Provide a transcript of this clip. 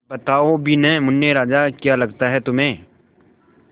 बताओ भी न मुन्ने राजा क्या लगता है तुम्हें